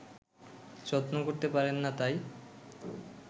যত্ন করতে পারেন না তাই